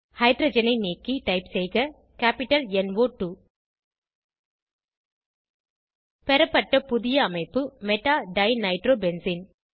ஹைட்ரஜனை நீக்கி டைப் செய்க கேப்பிட்டல் ந் ஒ 2 பெறப்பட்ட புதிய அமைப்பு மெடா டைநைட்ரோபென்சீன்